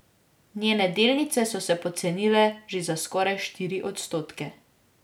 Njene delnice so se pocenile že za skoraj štiri odstotke.